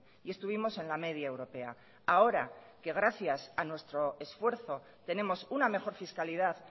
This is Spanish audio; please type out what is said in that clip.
y estuvimos en la media europea ahora que gracias a nuestro esfuerzo tenemos una mejor fiscalidad